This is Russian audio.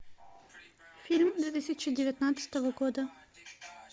фильм две тысячи девятнадцатого года